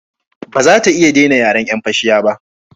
Ba za ta iya dena yin yaren yan fashiya ba